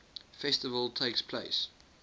festival takes place